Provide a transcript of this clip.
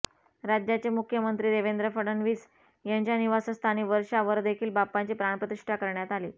राज्याचे मुख्यमंत्री देवेंद्र फडणवीस यांच्या निवासस्थानी वर्षावरदेखील बाप्पाची प्राणप्रतिष्ठा करण्यात आली